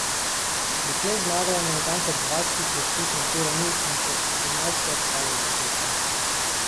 Doslej je zmagala na natanko dvajsetih preizkušnjah te ravni in še enajstkrat stala na stopničkah.